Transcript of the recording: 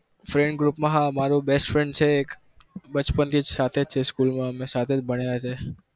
friend group હા છે best friend મારો એક અમે બચપન થી સાથે જ છે school માં સાથે જ ભણ્યા છીએ